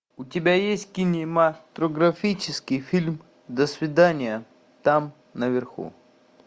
у тебя есть кинематографический фильм до свидания там наверху